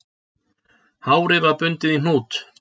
Hárið var bundið í hnút